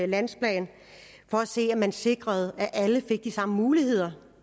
landsplan for at se om man sikrede at alle fik de samme muligheder